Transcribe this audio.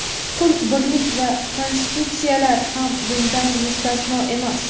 Pul birlik va konstitutsiyalar ham bundan mustasno emas.